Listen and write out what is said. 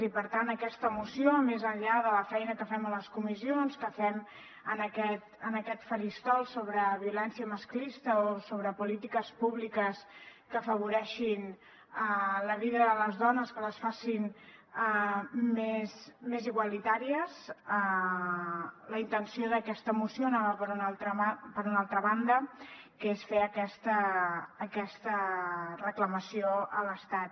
i per tant aquesta moció més enllà de la feina que fem a les comissions que fem en aquest faristol sobre violència masclista o sobre polítiques públiques que afavoreixin la vida de les dones que les facin més igualitàries la intenció d’aquesta moció anava per una altra banda que és fer aquesta reclamació a l’estat